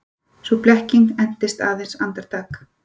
Sú blekking entist aðeins andartak.